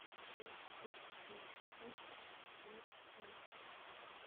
шесть восемьсот семьдесят семь четыреста двенадцать двенадцать одиннадцать